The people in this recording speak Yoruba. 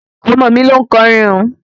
Ọmọ mi loún kọrin un